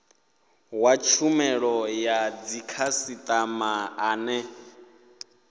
wa tshumelo ya dzikhasitama ane